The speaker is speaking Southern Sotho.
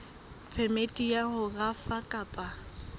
phemiti ya ho rafa kapa